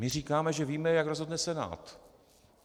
My říkáme, že víme, jak rozhodne Senát.